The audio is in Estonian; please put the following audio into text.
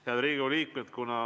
Head Riigikogu liikmed!